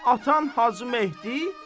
Atam Hacı Mehdi.